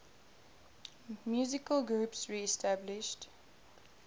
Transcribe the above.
musical groups reestablished